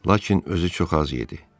Lakin özü çox az yedi.